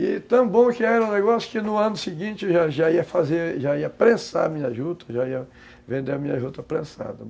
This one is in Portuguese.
E tão bom que era um negócio que no ano seguinte já ia fazer, já ia prensar minha juta, já ia vender a minha juta prensada.